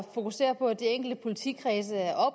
fokusere på at de enkelte politikredse er